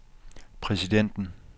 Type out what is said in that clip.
præsidenten